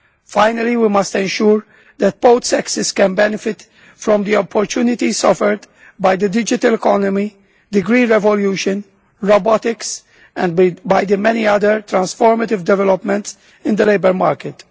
Finally, we must ensure that both sexes can benefit from the opportunities offered by the digital economy, the green revolution, robotics and by the many other transformative developments in the labour market.